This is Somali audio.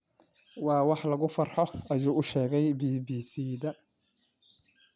Waa wax lagu farxo,” ayuu u sheegay BBC-da.